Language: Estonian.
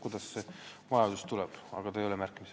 Urve Tiidus, palun!